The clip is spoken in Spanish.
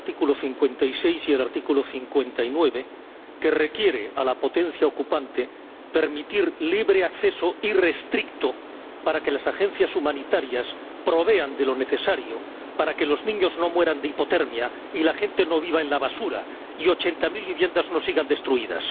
El artículo 56 y el artículo 59 requieren a la potencia ocupante permitir libre acceso irrestricto para que las agencias humanitarias provean de lo necesario, para que los niños no mueran de hipotermia y la gente no viva en la basura, y para que ochenta mil viviendas no sigan destruidas.